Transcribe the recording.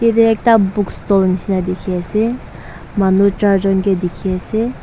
yatae ekta book stalll nishi na dikhiase manu charjon kae dikhiase.